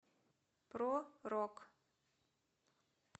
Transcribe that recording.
про рок